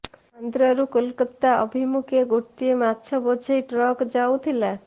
ଆନ୍ଧ୍ରରୁ କୋଲକତା ଅଭିମୁଖେ ଗୋଟିଏ ମାଛ ବୋଝେଇ ଟ୍ରକ୍ ଯାଉଥିଲା